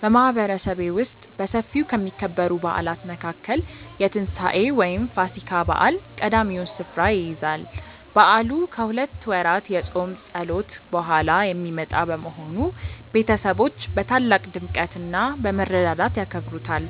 በማህበረሰቤ ውስጥ በሰፊው ከሚከበሩ በዓላት መካከል የትንሳኤ (ፋሲካ) በዓል ቀዳሚውን ስፍራ ይይዛል። በዓሉ ከሁለት ወራት የጾም ጸሎት በኋላ የሚመጣ በመሆኑ፣ ቤተሰቦች በታላቅ ድምቀትና በመረዳዳት ያከብሩታል።